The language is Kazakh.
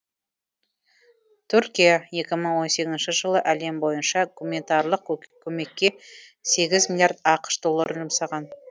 түркия екі мың он сегізінші жылы әлем бойынша гуманитарлық көмекке сегіз миллиард ақш долларын жұмсаған